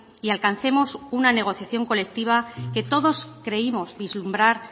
y alcancemos una negociación colectiva que todos creímos vislumbrar